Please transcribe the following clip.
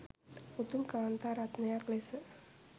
උතුම් කාන්තා රත්නයක් ලෙස